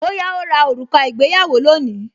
Bóyá ó ra òrùka ìgbéyàwó lónìí